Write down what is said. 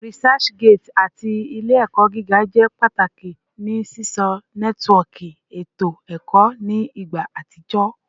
ResearchGate ati Ile-ẹkọ giga jẹ pataki ni sisọ nẹtiwọọki eto ẹkọ ni igba atijọ